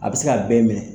A bɛ se ka bɛɛ minɛ